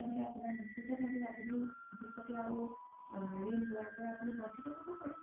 তেনেহ'লে আপোনাই নিশ্চিত ভাবে আপোনি ভৱিষ্যতে আৰু ৰিন লোৱাৰ পৰা বন্চিত হ্'ব পাৰে